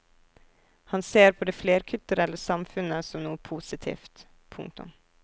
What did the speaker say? Han ser på det flerkulturelle samfunnet som noe positivt. punktum